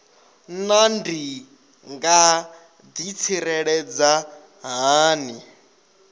naa ndi nga ḓitsireledza hani